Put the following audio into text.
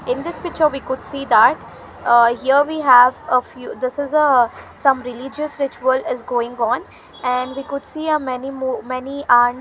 in this picture we could see that ah here we have a few this is a some religious rituals is going on an we could see a many more many aunt .